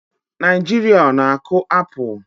Naijiria ọ na-akụ apụl?